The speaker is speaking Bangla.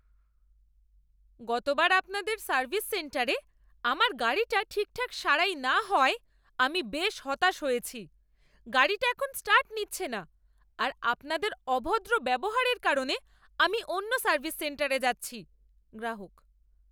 গতবার আপনাদের সার্ভিস সেন্টারে আমার গাড়িটা ঠিকঠাক সারাই না হওয়ায় আমি বেশ হতাশ হয়েছি। গাড়িটা এখন স্টার্ট নিচ্ছে না আর আপনাদের অভদ্র ব্যবহারের কারণে আমি অন্য সার্ভিস সেন্টারে যাচ্ছি। গ্রাহক